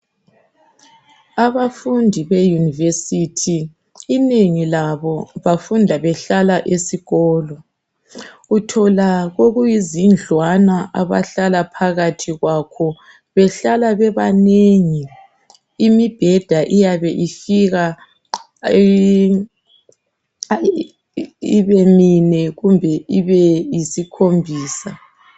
Abafundi be university inengi labo bafunda behlala esikolo .Uthola okuyizindlwana abahlala phakathi kwakho behlala bebanengi. Imibheda iyabe ifika ibe mine kumbe ibe yisikhombisa.